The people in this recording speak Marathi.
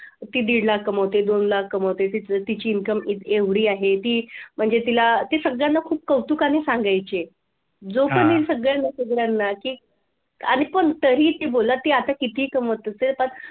ती दीड लाख पाहते दोन लाख कमवतेय तिची income एवढी आहे ती म्हणजे तिला ते सगळ्यांना खूप कौतुकाने सांगायचे. जो पण येईल सगळ्यांना सगळ्यांना अरे पण आता तरीही ती बोला आता ती किती कमवत असेल.